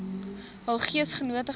hul geesgenote gegaan